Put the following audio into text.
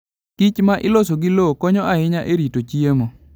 kichma iloso gi lowo konyo ahinya e rito chiemo.